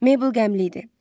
Meybil qəmli idi.